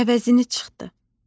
Əvəzini çıxdı.